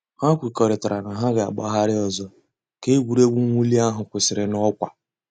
Hà kwèkọ̀rìtàrā nà hà gà-àgbàghàrì òzò̩ kà ègwè́régwụ̀ mwụ̀lì àhụ̀ kwụsìrì n'ọkwà.